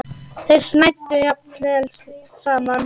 Þeir snæddu jafnvel saman.